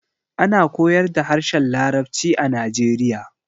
Ana koyar da harshen larabci a najeriya